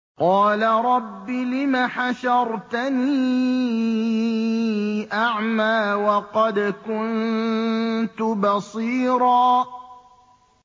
قَالَ رَبِّ لِمَ حَشَرْتَنِي أَعْمَىٰ وَقَدْ كُنتُ بَصِيرًا